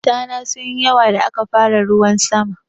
Tana sunyi yawa da aka fara ruwan sama.